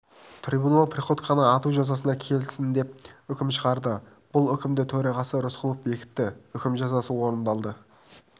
трибунал приходьконы ату жазасына кесілсін деп үкім шығарды бұл үкімді төрағасы рысқұлов бекітті үкім жазасы орындалды